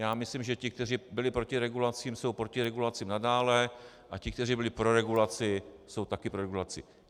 Já myslím, že ti, kteří byli proti regulacím, jsou proti regulacím nadále, a ti, kteří byli pro regulaci, jsou taky pro regulaci.